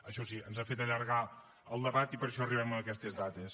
això sí ens n’ha fet allargar el debat i per això arribem en aquestes dates